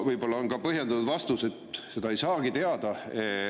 Võib-olla on põhjendatud ka vastus, et seda ei saagi teada.